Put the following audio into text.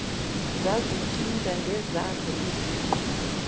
zazicinga ngezazo iziqu